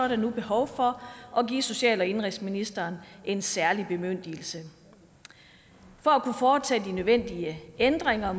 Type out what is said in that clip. der nu behov for at give social og indenrigsministeren en særlig bemyndigelse for at kunne foretage de nødvendige ændringer